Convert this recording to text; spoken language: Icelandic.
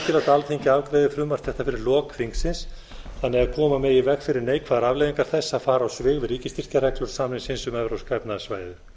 alþingi afgreiði frumvarp þetta fyrir lok þingsins þannig að koma megi í veg beri neikvæðar afleiðingar þess að fara á svig við ríkisstyrkjareglur samningsins um evrópska efnahagssvæðið